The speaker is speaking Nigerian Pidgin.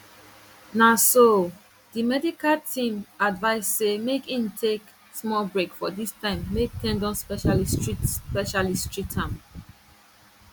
na so di club medical team advice say make im take small break for dis time make ten don specialist treat specialist treat am